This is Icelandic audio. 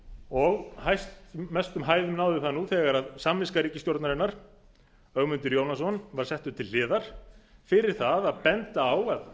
og mestum hæðum náði það þegar samviska ríkisstjórnarinnar ögmundur jónasson var settur til hliðar fyrir það að benda á að